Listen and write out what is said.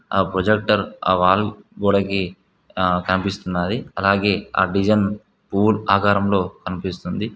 ఆ ప్రొజెక్టర్ ఆ వాల్ గోడకి ఆ కనిపిస్తున్నది అలాగే ఆ డిజైన్ పువ్వుల్ ఆకారంలో కనిపిస్తుంది.